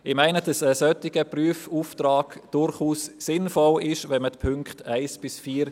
Wenn die Punkte 1 bis 4 überwiesen werden, ist ein solcher Prüfauftrag durchaus sinnvoll, wie ich meine.